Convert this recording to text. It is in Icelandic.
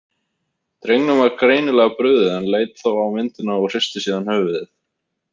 Drengnum var greinilega brugðið en leit þó á myndina og hristi síðan höfuðið.